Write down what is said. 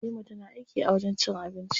Halima tana aiki a wajen cin abinci.